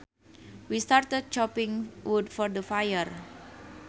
We started chopping wood for the fire